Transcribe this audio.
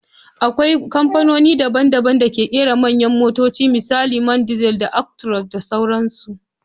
Akwai kamfanoni daban-daban da ke kera manyan motoci misali Man diesel, Actross da sauransu.